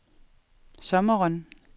sommeren